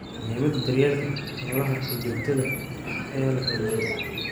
Muhiimadda daryeelka xoolaha ee joogtada ah ayaa la xoojiyaa.